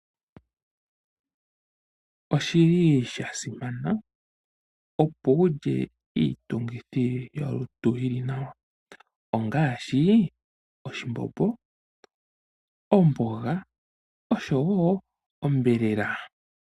Osha simana opo wu lye iitungithi yolutu yi li nawa ngaashi: oshimbombo, omboga nosho wo onyama.